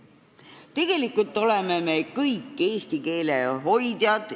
Tegelikult oleme me kõik eesti keele hoidjad.